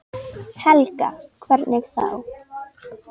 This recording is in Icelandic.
Helga: Hvernig þá?